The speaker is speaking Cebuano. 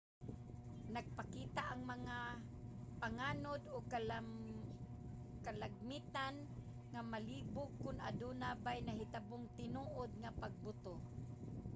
nagpakita ang mga panganod og kalagmitan nga malibog kon aduna bay nahitabong tinuod nga pagbuto